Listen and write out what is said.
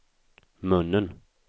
munnen